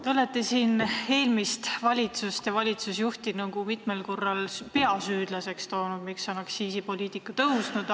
Te olete siin eelmist valitsust ja valitsusjuhti mitmel korral toonud välja peasüüdlasena selles, miks on aktsiisid tõusnud.